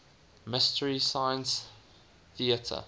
mystery science theater